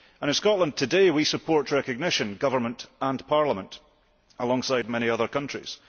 In Scotland today we support recognition, government and parliament, alongside many other countries.